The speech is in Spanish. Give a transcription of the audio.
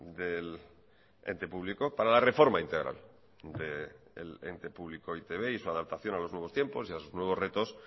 del ente público para la reforma integral del ente público e i te be y su adaptación a los nuevos tiempos y a los nuevos retos